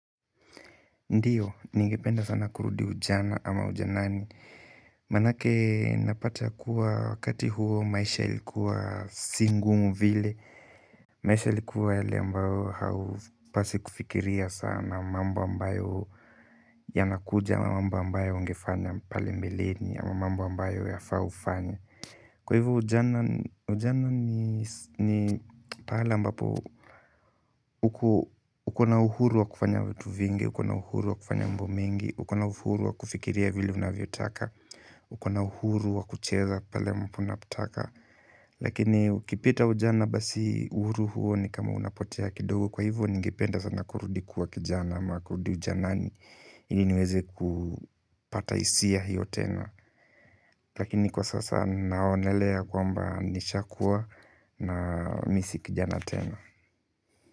Ndiyo, ningependa sana kurudi ujana ama ujanani manake napata kuwa wakati huo maisha ilikuwa si ngumu vile maisha ilikuwa yale ambayo haupasi kufikiria sana mambo ambayo yanakuja, mambo ambayo ungefanya pale mbeleni ama mambo ambayo yafqa ufanye kwa hivyo ujana ujana ni pale ambapo ukona uhuru wa kufanya vitu vingi ukona uhuru wa kufanya mambo mingi ukona uhuru wa kufikiria vile unavyo taka ukona uhuru wa kucheza pale ambapo unapotaka lakini ukipita ujana basi uhuru huo ni kama unapotea kidogo kwa hivyo ningependa sana kurudi kuwa kijana ama kurudi ujanani ili niweze kupata hisia hiyo tena lakini kwa sasa ninaonelea kwamba nisha kuwa na mimi si kijana tena.